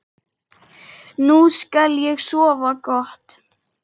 Nú skal ég sofa gott.